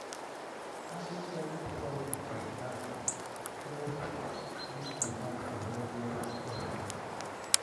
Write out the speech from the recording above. adding garlic powder to snacks helps meet demand for healthier food options.